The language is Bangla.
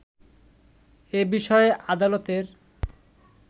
এ বিষয়ে আদালতের